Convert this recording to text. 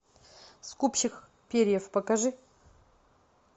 скупщик перьев покажи